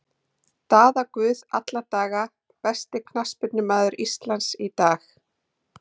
Daða Guð alla daga Besti knattspyrnumaður Íslands í dag?